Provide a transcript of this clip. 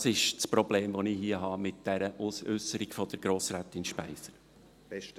Das ist das Problem, das ich hier mit dieser Äusserung von Grossrätin Speiser habe.